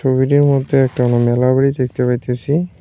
ছবিটির মধ্যে একটা আমরা মেলা বাড়ি দেখতে পাইতেছি।